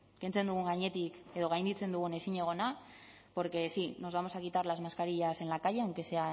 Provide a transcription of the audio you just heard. gainditzen dugun ezinegona porque sí nos vamos a quitar las mascarillas en la calle aunque sea